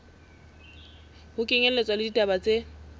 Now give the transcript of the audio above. ho kenyelletswa le ditaba tse